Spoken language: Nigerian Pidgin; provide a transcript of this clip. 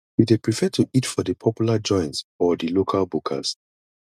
you dey prefer to eat for di popular joints or di local bukas